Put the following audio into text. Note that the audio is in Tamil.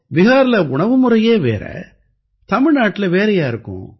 பிஹார்ல உணவுமுறையே வேற தமிழ்நாட்டுல வேறயா இருக்கும்